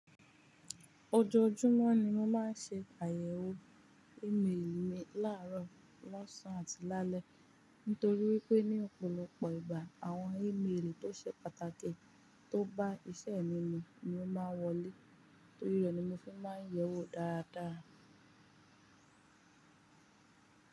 Ojoojúmọ́ ni mo máa ń ṣe àyẹ̀wò ímeèlì mi láàárọ̀, lọ́sàn-án àti lálẹ́. Nítorí wípé ní òpòlopò ìgbà àwọn ímeèlì tó ṣe pàtàkì tó bá iṣẹ́ mi mu ni mo máa ń wọlé, torí rẹ̀ ni mo fi máa ń yẹ̀ wò dáadáa.